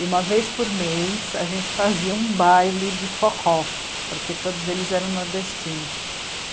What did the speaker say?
E uma vez por mês a gente fazia um baile de forró, porque todos eles eram nordestinos.